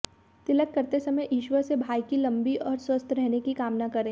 तिलक करते समय ईश्वर से भाई की लम्बी और स्वस्थ रहने की कामना करें